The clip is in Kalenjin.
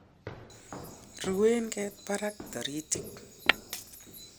ruen ket barak toritik